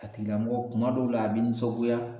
A tigilamɔgɔ kuma dɔw la a bi nisɔngoya